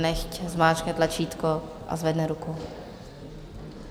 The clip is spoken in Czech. Nechť zmáčkne tlačítko a zvedne ruku.